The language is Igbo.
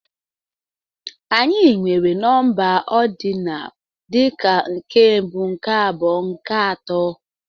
Anyị nwere nọmba ordinal dị ka nke mbụ, nke abụọ, nke atọ.